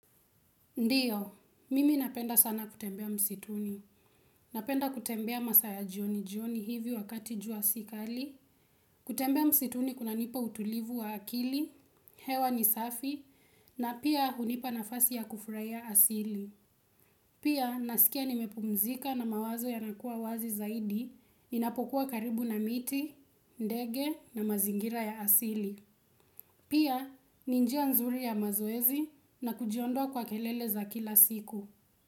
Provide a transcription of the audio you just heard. Ndiyo, mimi napenda sana kutembea msituni. Napenda kutembea masaa ya jioni jioni hivi wakati jua si kali. Kutembea msituni kunanipa utulivu wa akili, hewa ni safi, na pia hunipa nafasi ya kufurahia asili. Pia, nasikia nimepumzika na mawazo yanakuwa wazi zaidi, ninapokuwa karibu na miti, ndege na mazingira ya asili. Pia, ni njia nzuri ya mazoezi na kujiondoa kwa kelele za kila siku.